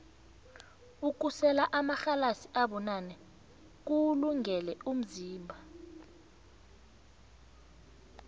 ukusela amarhalasi abunane kuwulungele umzimba